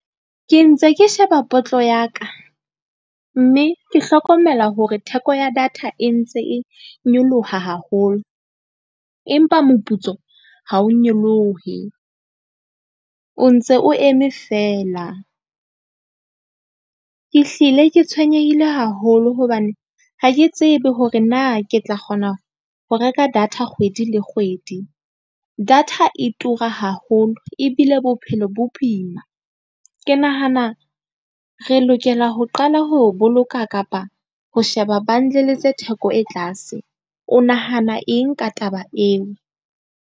Ke ntse ke sheba ya ka mme ke hlokomela hore theko ya data e ntse e nyoloha haholo. Empa moputso ha o nyolohe, o ntse o eme feela. Ke hlile ke tshwenyehile haholo hobane ha ke tsebe hore na ke tla kgona ho reka data kgwedi le kgwedi. Data e tura haholo ebile bo bophelo bo boima. Ke nahana re lokela ho qala ho boloka kapa ho sheba bundle tse theko e tlase. O nahana eng ka taba eo?